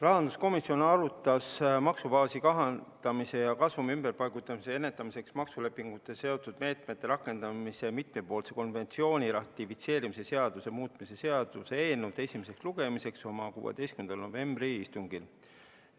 Rahanduskomisjon arutas maksubaasi kahandamise ja kasumi ümberpaigutamise ennetamiseks maksulepingutega seotud meetmete rakendamise mitmepoolse konventsiooni ratifitseerimise seaduse muutmise seaduse eelnõu ja valmistas seda esimeseks lugemiseks ette oma 16. novembri istungil.